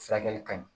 Furakɛli ka ɲi